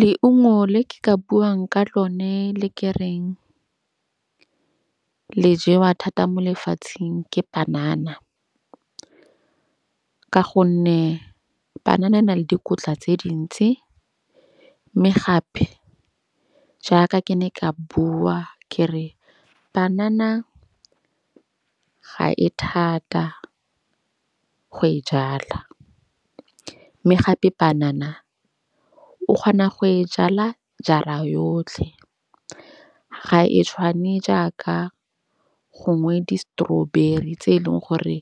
Leungo le ke ka buang ka lone le ke reng le jewa thata mo lefatsheng ke panana. Ka gonne panana e na le dikotla tse dintsi. Mme gape jaaka ke ne ka bua ke re, panana ga e thata go e jala. Mme gape panana o kgona go e jala jara yotlhe. Ga e tshwane jaaka gongwe di-strawberry tse eleng gore